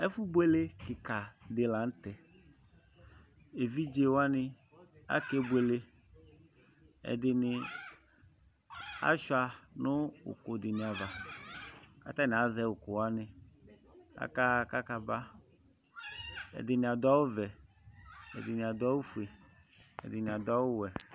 ɛfoboele keka di lantɛ evidze wani akebuele ɛdini asua no òkò di ni ava k'atani azɛ òkò wani k'aka ɣa k'aka ba ɛdini ado awu vɛ ɛdini ado awu fue ɛdini ado awu wɛ